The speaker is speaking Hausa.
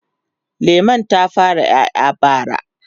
lemun ta fara ƴaƴa bara